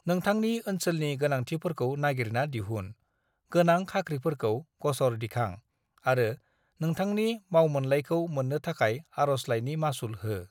"नोंथांनि ओनसोलनि गोनांथिफोरखौ नागिरना दिहुन, गोनां खाख्रिफोरखौ ग'सर दिखां आरो नोंथांनि मावमोनलाइखौ मोननो थाखाय आरजलाइनि मासुल हो।"